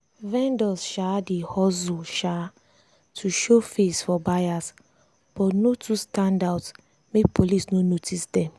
vendors um dey hustle um to show face for buyers but no too stand out make police no notice them.